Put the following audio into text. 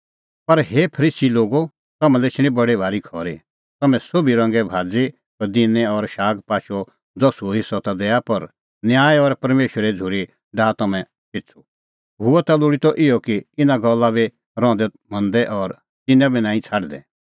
पर हे फरीसी लोगो तम्हां लै एछणी बडी भारी खरी तम्हैं सोभी रंगे भाज़ी पदिनै और शागपाचो दसुअ हेस्सअ ता दैआ पर न्याय और परमेशरे झ़ूरी डाहा तम्हैं पिछ़ू हुअ ता लोल़ी त इहअ कि इना गल्ला बी रहंदै मंदै और तिन्नां बी नांईं छ़ाडदै